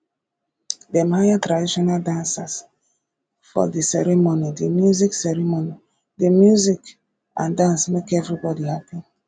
dem hire traditional dancers for di ceremony di music ceremony di music and dance make everybodi hapi